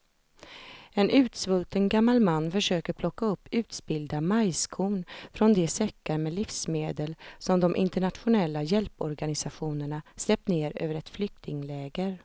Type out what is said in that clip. En utsvulten gammal man försöker plocka upp utspillda majskorn från de säckar med livsmedel som de internationella hjälporganisationerna släppt ner över ett flyktingläger.